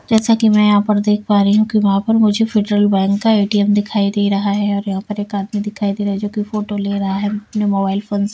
जैसा कि मैं यहाँ पर देख पा रही हूँ कि वहाँ पर मुझे फेडरल बैंक का ए_टी_एम दिखाई दे रहा है और यहाँ पर एक आदमी दिखाई दे रहा है जो कि फोटो ले रहा है अपने मोबाइल फोन --